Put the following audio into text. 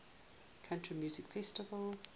country music festival